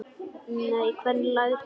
Nei, hvernig læt ég?